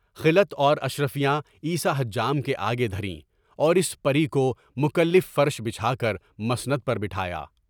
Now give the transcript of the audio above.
خلعت اور اشرفیہ عیسیٰ حجام کے آگے دھریں، اور اس پر مکو مکلّف فرش بچھا کر مسند پر بٹھایا۔